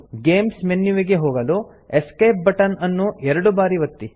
games ಮೆನ್ಯುವಿಗೆ ಹೋಗಲು escape button ಅನ್ನು ಎರಡು ಬಾರಿ ಒತ್ತಿ